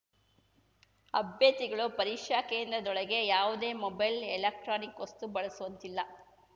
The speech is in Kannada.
ಅಭ್ಯರ್ಥಿಗಳು ಪರೀಕ್ಷಾ ಕೇಂದ್ರದೊಳಗೆ ಯಾವುದೇ ಮೊಬೈಲ್‌ ಎಲೆಕ್ಟ್ರಾನಿಕ್‌ ವಸ್ತು ಬಳಸುವಂತಿಲ್ಲ